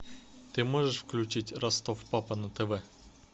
ты можешь включить ростов папа на тв